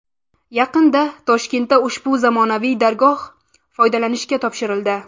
Yaqinda Toshkentda ushbu zamonaviy dargoh foydalanishga topshirildi.